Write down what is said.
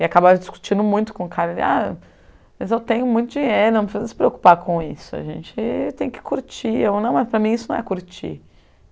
E acabar discutindo muito com o cara, ele, ah, mas eu tenho muito dinheiro, não precisa se preocupar com isso, a gente tem que curtir, ou não, mas para mim isso não é curtir.